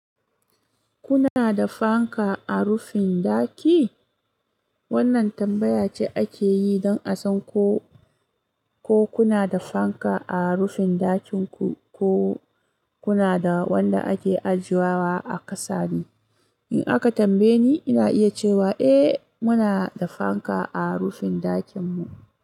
Kuna da fanka a rufin ɗaki? Wannan tambaya ce ake yi don a san ko, ko kuna da fanka a rufin ɗakin ku ko kuna da wanda ake ajiyewa a ƙasa ne. In aka tambaye ni, ina iya cewa eh, muna da fanka a rufin ɗakin mu.